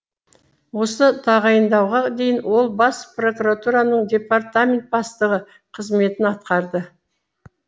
осы тағайындауға дейін ол бас прокуратураның департамент бастығы қызметін атқарды